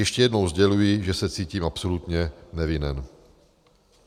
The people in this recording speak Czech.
Ještě jednou sděluji, že se cítím absolutně nevinen.